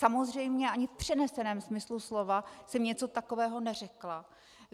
Samozřejmě ani v přeneseném smyslu slova jsem něco takového neřekla.